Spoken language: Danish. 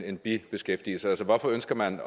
en bibeskæftigelse hvorfor ønsker man